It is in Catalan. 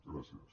gràcies